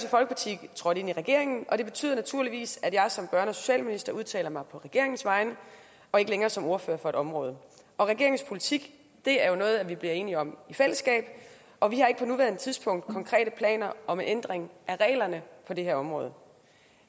folkeparti trådt ind i regeringen og det betyder naturligvis at jeg som børne og socialminister udtaler mig på regeringens vegne og ikke længere som ordfører på et område regeringens politik er noget vi bliver enige om i fællesskab og vi har ikke på nuværende tidspunkt konkrete planer om en ændring af reglerne på det her område